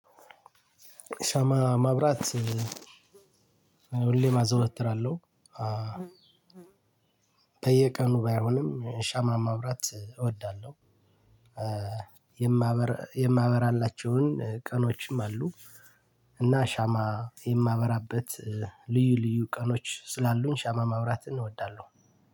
ሻማ ማብራት ሁሌም አዘወትራለሁ። በየቀኑ ባይሆንም ሻማ ማብራት እወዳለሁ። የማበራላቸውን ቀኖችም አሉ እና ሻማ የማበራበት ልዩ ልዩ ቀኖች ስላሉኝ ሻማ ማብራትን እወዳለሁ።